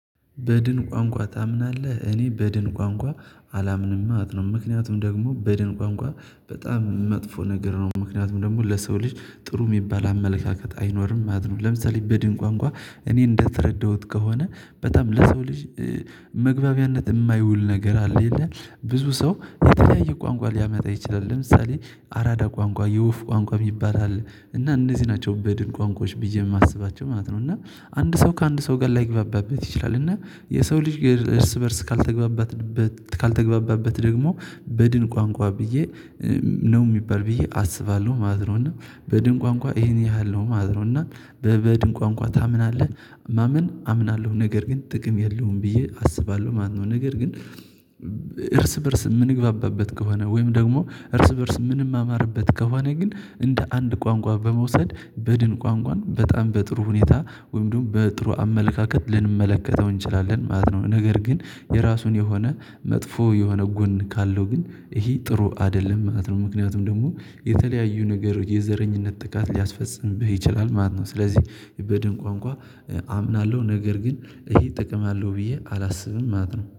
በድን ቋንቋ ታምናለህ? እኔ በድን ቋንቋ አላምንም ማለት ነው። ምክንያቱም ደግሞ በድን ቋንቋ በጣም መጥፎ ነገር ነው። ምክንያቱም ደግሞ ለሰው ልጅ ጥሩ የሚባል አመለካከት አይኖርም ማለት ነው። ለምሳሌ በድን ቋንቋ እኔ እንደተረዳሁት ከሆነ በጣም ለሰው ልጅ መግባቢያነት የማይውል ነገር አለ የለ ብዙ ሰው የተለያየ ቋንቋ ሊያመጣ ይችላል። ለምሳሌ አራዳ ቋንቋ የወፍ ቋንቋ የሚባል አለ እና እነዚህ ናቸው በድን ቋንቋዎች ቢዬ ማስበው ማለት ነው። እና አንድ ሰው ከአንድ ሰው ጋር ላይግባባበት ይችላል እና የሰው ልጅ እርስ በእርስ ካልተግባባትን ካልተግባባበት ደግሞ በድን ቋንቋ ብዬ ነው የሚባል ብዬ አስባለሁ ማለት ነው። እና በድን ቋንቋ ይሄን ያህል ነው ማለት ነው። በበድን ቋንቋ ታምናለህ? ማመን አምናለሁ ነገር ግን ጥቅም የለውም ብዬ አስባለሁ ማለት ነው። ነገር ግን እርስ በእርስ የምንግባባበት ከሆነ ወይም ደግሞ እርስ በእርስ ምንማማርበት ከሆነ ግን እንደ አንድ ቋንቋ በመውሰድ በድን ቋንቋን በጣም በጥሩ ሁኔታ ወይም ደግሞ በጥሩ አመለካከት ልንመለከተው እንችላለን ማለት ነው። ነገር ግን የራሱን የሆነ መጥፎ የሆነ ጎን ካለው ግን ይሄ ጥሩ አይደለም ማለት ነው። ምክንያቱም ደግሞ የተለያዩ ነገር የዘረኝነት ጥቃት ሊያስፈጽምብህ ይችላል ማለት ነው። ስለዚህ የበድን ቋንቋ አምናለሁ ነገር ግን ይሄ ጥቅም አለው ብዬ አላስብም ማለት ነው